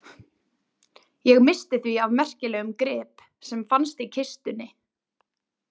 Ég missti því af merkilegum grip sem fannst í kistunni.